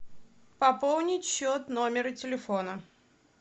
пополнить счет номера телефона